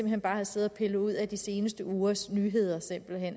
hen bare havde siddet og pillet ud af de seneste ugers nyheder